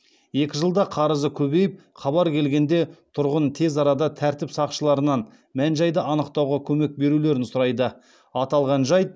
екі жылда қарызы көбейіп хабар келгенде тұрғын тез арада тәртіп сақшыларынан мән жайды анықтауға көмек берулерін сұрайды